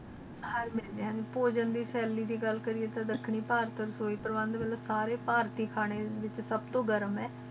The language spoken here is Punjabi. ਹੇਰ ਮਿਲ ਦੀ ਏ ਪੋਗਾਂ ਦੀ ਥੈਲੀ ਦੀ ਗਲ ਕੇਰਿਯਾ ਟੀ ਦਖਣੀ ਪਰਤ ਸੀ ਅਲੈੰਡ ਵਾਂਗੂ ਸਾਰੇ ਆਰਤੀ ਖਾਨੇ ਸਬ ਤ ਗਰਮ ਏ